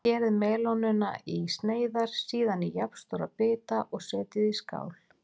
Skerið melónuna í sneiðar, síðan í jafnstóra bita og setjið í skál.